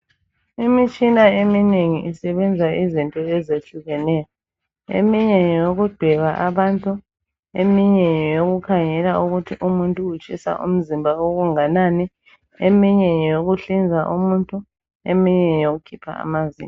Imitshina eminengi isebenza izinto ezehlukeneyo eminye nyeyokudweba abantu eminye ngeyokukhangela ukuthi umuntu utshisa umzimba okunganani, eminye ngyeyokuhlinza umuntu eminye ngeyokukhipha amazinyo.